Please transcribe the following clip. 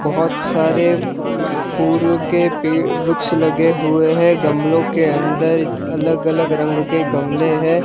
बहुत सारे फूल के पे वृक्ष लगे हुए हैं गमलों के अंदर अलग अलग रंग के गमले हैं।